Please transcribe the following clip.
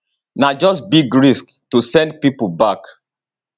na just big risk to send pipo back